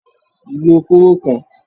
Lo kóró kan!